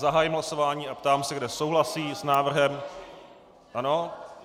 Zahájím hlasování a ptám se, kdo souhlasí s návrhem - ano?